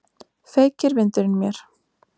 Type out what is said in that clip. Feykir vindurinn mér.